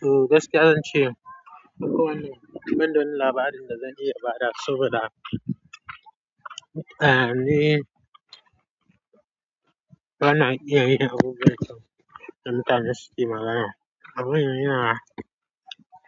Toh gakiya zance banda wani labarin da zan iya badawa saboda ni bana iya yin abubuwa. Na mutanen da suke magana. Abin yana,